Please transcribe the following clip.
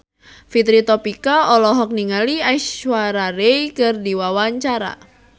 Fitri Tropika olohok ningali Aishwarya Rai keur diwawancara